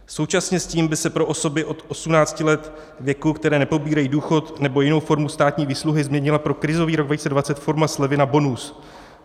Současně s tím by se pro osoby od 18 let věku, které nepobírají důchod nebo jinou formu státní výsluhy, změnila pro krizový rok 2020 forma slevy na bonus.